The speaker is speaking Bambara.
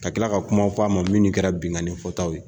Ka kila ka kumaw fɔ a ma minnu kɛra binkani kɛtaw ye